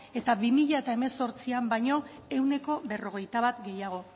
eta bi mila hemezortzian baino ehuneko berrogeita bat gehiago